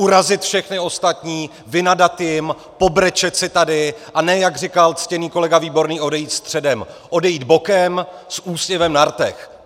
Urazit všechny ostatní, vynadat jim, pobrečet si tady, a ne jak říkal ctěný kolega Výborný odejít středem, odejít bokem s úsměvem na rtech.